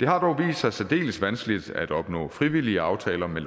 det har dog vist sig særdeles vanskeligt at opnå frivillige aftaler med